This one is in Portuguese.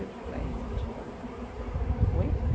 Foi em Santiago? Oi?